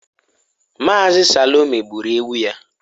Mazi Salome gburu ewu ya?